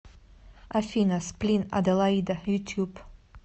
афина сплин аделаида ютюб